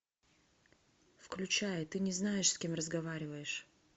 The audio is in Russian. включай ты не знаешь с кем разговариваешь